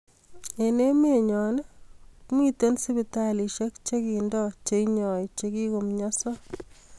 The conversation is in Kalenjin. Eng emenyoo, mitei sipitalishek che kindon che inyoi che kikomyanso